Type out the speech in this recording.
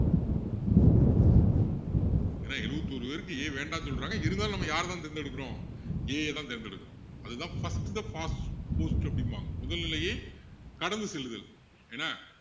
ஏன்னா எழுபத்தி ஒரு பேருக்கு A வேண்டாம்ன்னு சொல்றாங்க இருந்தாலும் நம்ம யாரை தான் நம்ம தேர்ந்து எடுக்குறோம் A அ தான் தேர்ந்து எடுக்குறோம் அதுதான் first the past the post அப்படிம்பாங்க முதல்நிலையை கடந்து செல்லுதல் என்ன,